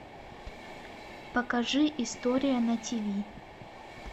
покажи история на тиви